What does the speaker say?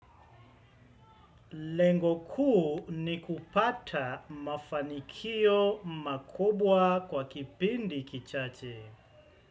Lengoku ni kupata mafanikio makubwa kwa kipindi kichache.